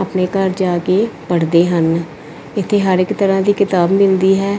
ਲੋਕੀ ਘਰ ਜਾ ਕੇ ਪੜਦੇ ਹਨ ਇਥੇ ਹਰ ਇੱਕ ਤਰ੍ਹਾਂ ਦੀ ਕਿਤਾਬ ਮਿਲਦੀ ਹੈ